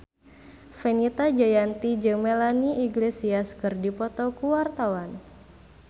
Fenita Jayanti jeung Melanie Iglesias keur dipoto ku wartawan